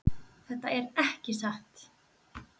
Þetta er ekki satt!